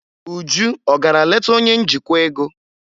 Uju ọ gara leta onye njikwa ego?